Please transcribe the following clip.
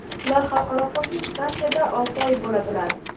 Ular Xalqaro kosmik stansiyada olti oy bo‘ladilar.